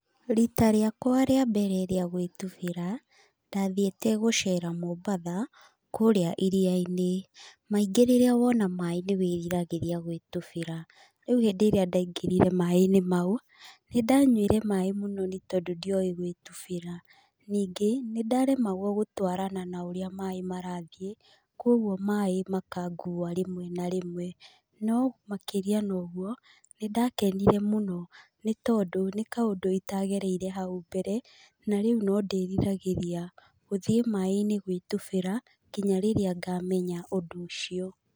Riita rĩakwa rĩa mbere rĩa gwĩtubĩra, ndathiĩte gũcera Mombasa, kũrĩa iria-inĩ. Maingĩ rĩrĩa wona maĩ nĩ wĩriragĩria gwĩtubĩra. Rĩu hĩndĩ ĩrĩa ndaingĩrire maĩ-inĩ mau, nĩ ndanyuire maĩ mũno nĩ tondũ ndioĩ gwĩtubĩra. Ningĩ, nĩ ndaremagwo gũtwarana na ũrĩa maĩ marathiĩ, kũguo maĩ makangua rĩmwe na rĩmwe. No makĩria na ũguo, nĩ ndakenire mũno nĩ tondũ nĩ kaũndũ itagereire hau mbere na rĩu na ndĩriragĩria gũthiĩ maĩ-inĩ gwĩtubĩra nginya rĩrĩa ngamenya ũndũ ũcio.